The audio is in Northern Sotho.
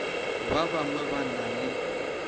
ba bangwe ba na le